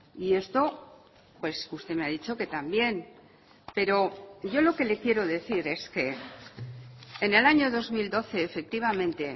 y esto pues usted me ha dicho que también pero yo lo que le quiero decir es que en el año dos mil doce efectivamente